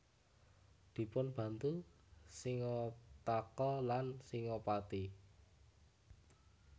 Dipunbantu Singataka lan Singapati